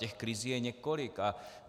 Těch krizí je několik.